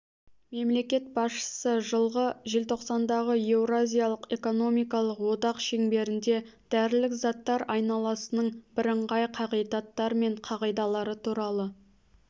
мемлекет басшысы жылғы желтоқсандағы еуразиялық экономикалық одақ шеңберінде дәрілік заттар айналасының бірыңғай қағидаттары мен қағидалары туралы